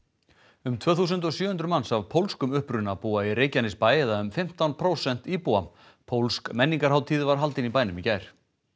um tvö þúsund og sjö hundruð manns af pólskum uppruna búa í Reykjanesbæ eða um fimmtán prósent íbúa pólsk menningarhátíð var haldin í bænum í gær